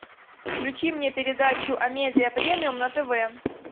включи мне передачу амедиа премиум на тв